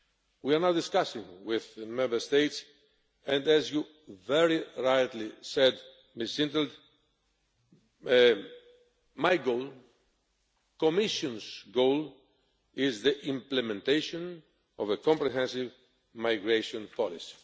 We are not discussing with the Member States, and as you very rightly said, Ms in 't Veld, my goal, the Commission's goal, is the implementation of a comprehensive migration policy.